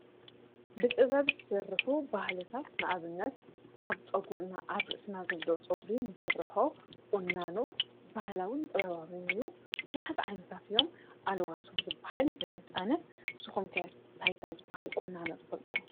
ብጥበብ ዝስርሑ ባህልታት ንኣብነት ኣብ ፀጕር አብ ርእስና ዘለዉ ጨጉርታት ርስና ዘለዶ ፆጕሪን ንስርሖ ዑናኖ ባህላውን ጥበባበን እዩ ብዙሓት ዓይንታት እዮም። ኣልዋስዉዝበሃል ይፈልጥ ኣነ ንስኩም ከ እንታይ እንታይ ዓይነት ዝባሃሊ ቁኖታት ትፈልጡ?